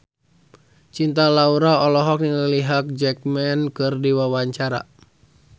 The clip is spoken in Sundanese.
Cinta Laura olohok ningali Hugh Jackman keur diwawancara